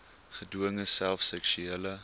gedwonge self seksuele